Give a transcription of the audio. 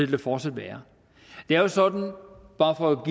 der fortsat være det er jo sådan bare for at